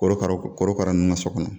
Korokara korokara nunnu ka so kɔnɔ